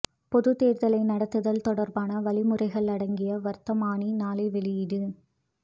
பொதுத் தேர்தலை நடத்துதல் தொடர்பான வழிமுறைகள் அடங்கிய வர்த்தமானி நாளை வெளியீடு